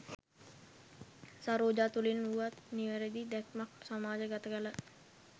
සරෝජා තුළින් වුවත් නිවැරැදි දැක්මක් සමාජ ගත කලා.